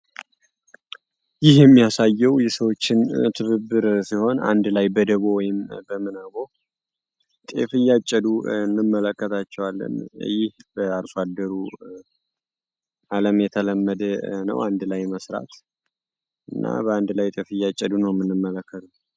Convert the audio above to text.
ይህ ምስል የሚያሳየው የሰዎችን ትብብር ሲሆን አንድ ላይ በደቡብ ወይም በምናቦ እንመለከታቸዋለን የተለመደ ነው አንድ ላይ መስራት አንድ ላይ ነው ምንመለከተው።